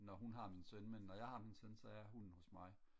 når hun har min søn men når jeg har min søn så er hunden hos mig